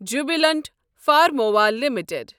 Jubilant Pharmova limited